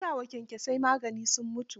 Na sa wa kyankyasai magani sun mutu.